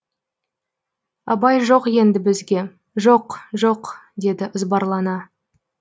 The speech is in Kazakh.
абай жоқ енді бізге жоқ жоқ деді ызбарлана